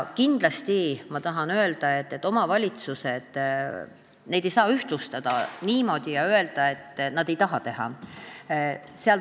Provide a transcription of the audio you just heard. Kindlasti tahan öelda, et omavalitsusi ei saa nii ühtemoodi võtta ja öelda, et nad ei taha teha.